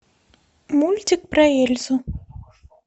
мультик про эльзу